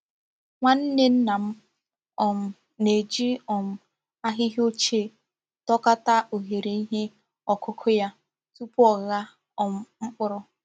Nwanne nna m um na-eji um ahịhịa ọ́chie dokọ̀ta oghere ihe ọkụ́kụ́ ya tupu ọ̀gha um mkpụrụ.